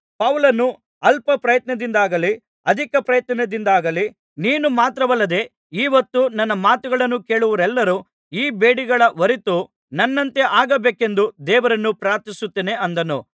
ಪೌಲನು ಅಲ್ಪಪ್ರಯತ್ನದಿಂದಾಗಲಿ ಅಧಿಕ ಪ್ರಯತ್ನದಿಂದಾಗಲಿ ನೀನು ಮಾತ್ರವಲ್ಲದೆ ಈಹೊತ್ತು ನನ್ನ ಮಾತುಗಳನ್ನು ಕೇಳುವವರೆಲ್ಲರೂ ಈ ಬೇಡಿಗಳ ಹೊರತು ನನ್ನಂತೆ ಆಗಬೇಕೆಂದು ದೇವರನ್ನು ಪ್ರಾರ್ಥಿಸುತ್ತೇನೆ ಅಂದನು